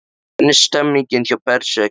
Hvernig er stemningin hjá Berserkjum?